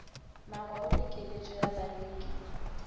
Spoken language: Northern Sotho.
magoro le keletšo ya bareki